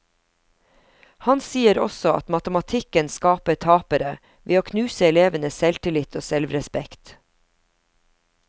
Han sier også at matematikken skaper tapere, ved å knuse elevenes selvtillit og selvrespekt.